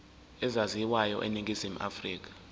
ezaziwayo eningizimu afrika